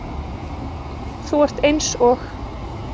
Þú ert eins og